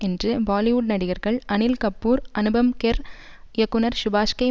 என்று பாலிவுட் நடிகர்கள் அனில் கபூர் அனுபம் கெர் இயக்குனர் சுபாஷ்கை